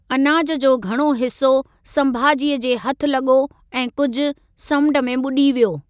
अनाज जो घणो हिसो संभाजीअ जे हथि लॻो ऐं कुझि समुंड में ॿुॾी वियो।